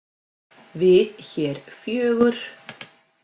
Við hér fjögur?